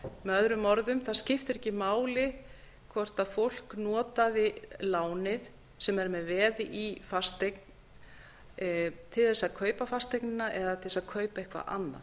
með öðrum orðum skiptir ekki máli hvort fólk notaði lánið sem er með veði í fasteign til þess að kaupa fasteignina eða til þess að kaupa eitthvað annað